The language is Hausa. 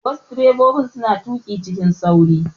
Wassu direbobi suna tuƙi cikin sauri